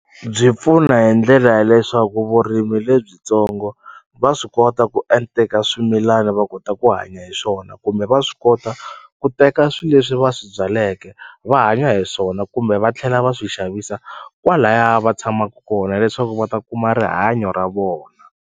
Byi pfuna hi ndlela ya leswaku vurimi lebyitsongo va swi kota ku swimilana va kota ku hanya hi swona kumbe va swi kota ku teka swi leswi va swi byaleke va hanya hi swona kumbe va tlhela va swi xavisa kwalaya va tshamaku kona leswaku va ta kuma rihanyo ra vona.